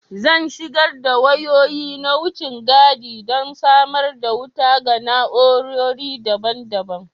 Zan shigar da wayoyi na wucin gadi don samar da wuta ga na'urori daban-daban